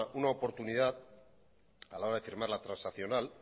una oportunidad a la hora de firmar la transaccional